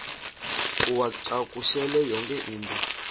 uwacakushele yonke into